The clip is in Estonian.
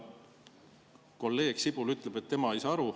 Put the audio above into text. Kolleeg Sibul ütleb, et tema ei saa aru.